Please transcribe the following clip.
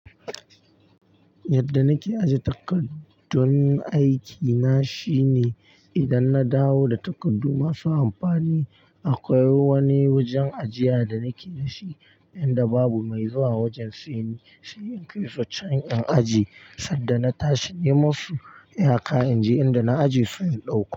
Yadda nake aje takardun aikina shine idan na dawo da takardu masu amfani, akwai wani wajen ajiya da nake da shi inda babu mai zuwa wajen sai ni sai in kai su can in ajiye. Sanda na tashi neme su, iya ka in je inda na aje su in ɗauko.